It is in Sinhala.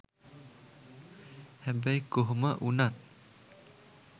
හැබැයි කොහොම වුනත්